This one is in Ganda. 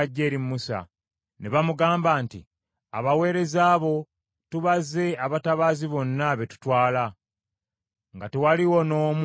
ne bamugamba nti, “Abaweereza bo tubaze abatabaazi bonna be tutwala, nga tewaliiwo n’omu abulawo.